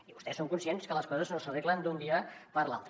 i vostès són conscients que les coses no s’arreglen d’un dia per l’altre